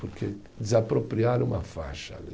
Porque desapropriaram uma faixa ali.